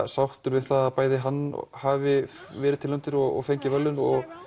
sáttur við það að bæði hann hafi verið tilnefndur og fengið verðlaun og